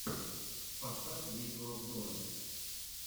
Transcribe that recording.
поставь видеообзоры